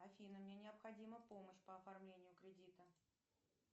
афина мне необходима помощь по оформлению кредита